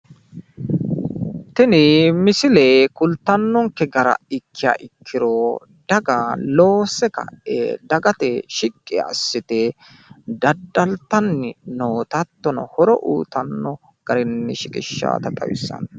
Tini misile kultannonke gara ikkiha ikkiro daga loosse ka'e dagate shiqqi assite daddaltanni noota hattono horo uyitanno garinni shiqishshawota xawissanno.